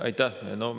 Aitäh!